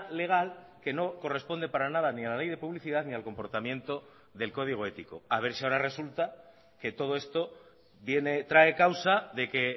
legal que no corresponde para nada ni a la ley de publicidad ni al comportamiento del código ético a ver si ahora resulta que todo esto viene trae causa de que